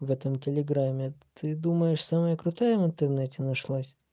в этом телеграме ты думаешь самая крутая в интернете нашлась